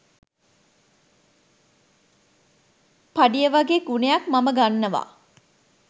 පඩිය වගේගුණයක් මම ගන්නවා